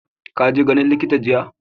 ka je ganin likita jiya?